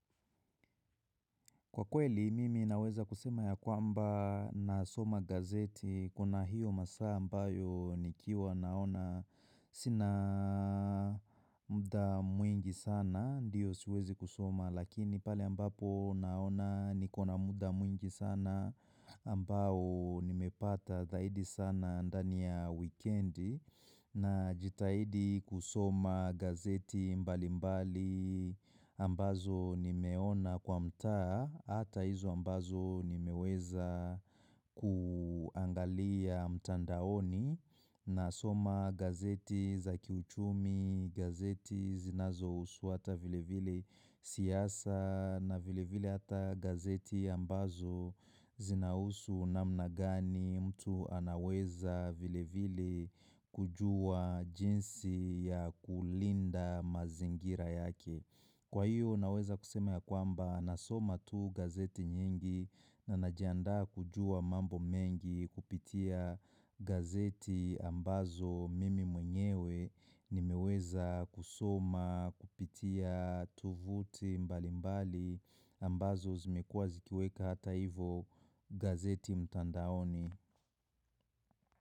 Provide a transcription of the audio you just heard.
Kwa kweli, mimi naweza kusema ya kwamba nasoma gazeti, kuna hiyo masaa ambayo nikiwa naona sina muda mwingi sana, ndiyo siwezi kusoma lakini pale ambapo naona niko na muda mwingi sana ambao nimepata zaidi sana ndani ya wikendi najitahidi kusoma gazeti mbalimbali ambazo nimeona kwa mtaa hata hizo ambazo nimeweza kuangalia mtandaoni nasoma gazeti za kiuchumi, gazeti zinazousuata vile vile siasa na vile vile hata gazeti ambazo zinahusu namna gani mtu anaweza vile vile kujua jinsi ya kulinda mazingira yake. Kwa hiyo naweza kusema ya kwamba nasoma tu gazeti nyingi na najiandaa kujua mambo mengi kupitia gazeti ambazo mimi mwenyewe ni meweza kusoma kupitia tuvuti mbalimbali ambazo zimekuwa zikiweka hata hivo gazeti mtandaoni.